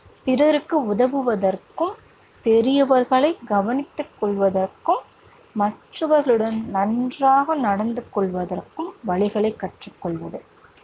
பிறருக்கு உதவுவதற்கும், பெரியவர்களைக் கவனித்துக் கொள்வதற்கும், மற்றவர்களுடன் நன்றாக நடந்து கொள்வதற்கும் வழிகளைக் கற்றுக் கொள்வது.